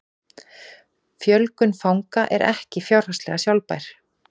Fjölgun fanga er ekki fjárhagslega sjálfbær